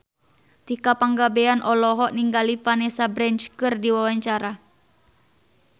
Tika Pangabean olohok ningali Vanessa Branch keur diwawancara